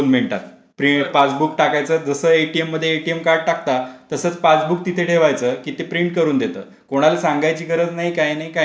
दोन मिनिटात पासबुक टाकायचं दुसऱ्या एटीएम मध्ये एटीएम कार्ड टाकतात तसं पासबुक तिथे ठेवायचं तिथे प्रिंट करून देतात. कोणाला सांगायची गरज नाही काही नाही काही नाही.